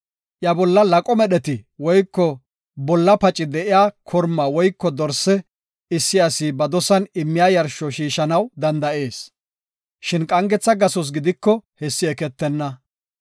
Iya bolla laqoy medheti woyko bolla paci de7iya korma woyko dorse issi asi ba dosan immiya yarsho shiishanaw danda7ees; shin qangetha gasos gidiko hessi eketenna.